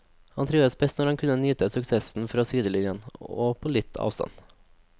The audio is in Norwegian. Han trivdes best når han kunne nyte suksessen fra sidelinjen og på litt avstand.